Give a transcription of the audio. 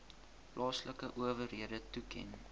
plaaslike owerhede toeken